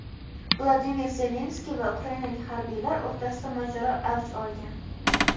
Vladimir Zelenskiy va ukrainalik harbiylar o‘rtasida mojaro avj olgan.